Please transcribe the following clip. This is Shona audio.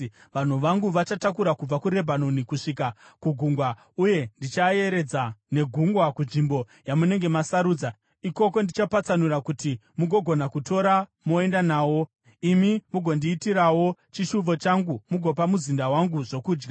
Vanhu vangu vachatakura kubva kuRebhanoni kusvika kugungwa, uye, ndichaayeredza negungwa kunzvimbo yamunenge masarudza. Ikoko ndichapatsanura kuti mugogona kuatora moenda nawo. Imi mugondiitirawo chishuvo changu mugopa muzinda wangu zvokudya.”